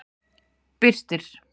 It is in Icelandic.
Birtir